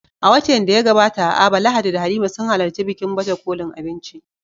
A watan da ya gabata a Aba, Lahadi da Halima sun halarci bikin baje kolin abinci